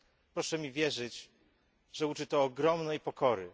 Proszę mi wierzyć, że uczy to ogromnej pokory.